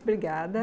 Obrigada.